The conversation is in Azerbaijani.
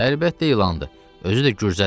Əlbəttə ilandır, özü də gürcədir.